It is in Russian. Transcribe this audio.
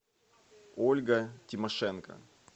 ольга тимошенко